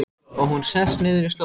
Og hún sest niður í slóðina.